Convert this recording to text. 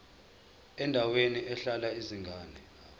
endaweni ehlala izingane